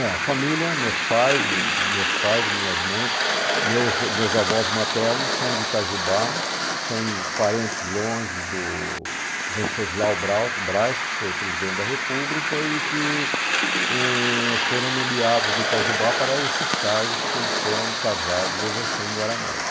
É, a família, meus pais, minhas mães, meus avós maternos são de Itajubá, são parentes longe do Venceslau Braus Braz, que foi presidente da República e que foram nomeados de Itajubá para esses cargos que eles foram casados e exerceram em Guaranésia.